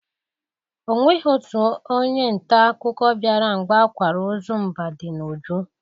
Onweghi otu onye nta akụkọ bịara mgbe akwara ozu Mbadinuju.